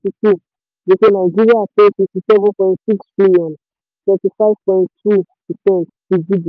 gbèsè nàìjíríà tó sixty seven point six trillion thirty five point two percent ti gdp.